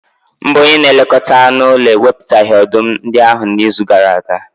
Mba, onye na-elekọta anụ ụlọ ewepụtaghị ọdụm ndị ahụ n'izu gara aga.